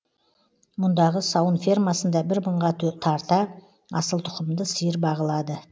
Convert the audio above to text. мұндағы сауын фермасында бір мыңға тарта асылтұқымды сиыр бағылады